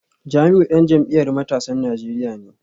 Jamiu dan jam’iyyar matasan Najeriya ne